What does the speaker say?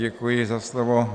Děkuji za slovo.